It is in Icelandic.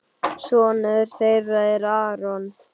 Sonur þeirra er Aron.